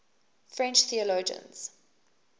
french theologians